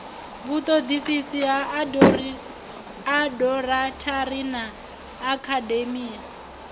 vhutodisisi ha aborathari na akhademia